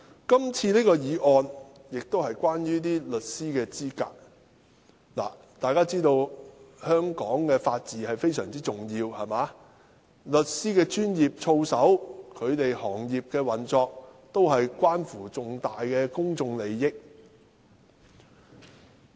今次的《公告》是關於律師資格，大家都知道，法治對香港非常重要，律師的專業操守、行業的運作，都關乎重大公眾利益。